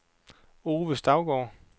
Ove Stougaard